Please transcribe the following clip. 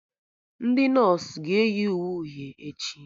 Ndị nọsụ ga-eyi uwe uhie echi